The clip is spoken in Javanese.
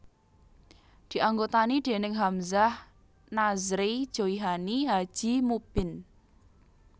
Dianggotani déning Hamzah Nazrey Joihani Haji Mubbin